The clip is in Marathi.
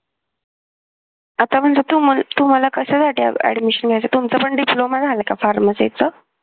आता म्हटलं तुम्हाला तुम्हाला कशासाठी admission घ्यायचं तुमचा पण diploma झाला आहे का pharmacy चा